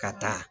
Ka taa